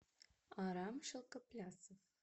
арам шелкоплясов